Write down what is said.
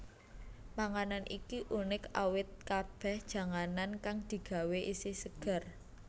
Panganan iki unik awit kabèh janganan kang digawé isih seger